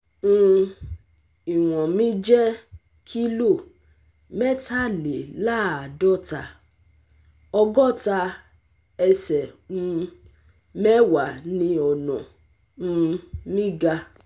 um Iwọn mi jẹ́ kilo mẹ́tàléláàádọ́ta, ọ̀gọ́ta ẹsẹ̀ um mẹ́wàá ni ọ̀nà um mi ga